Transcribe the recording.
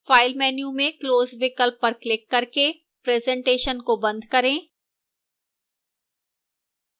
file menu में close विकल्प पर क्लिक करके presentation को बंद करें